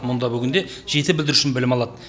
мұнда бүгінде жеті бүлдіршін білім алады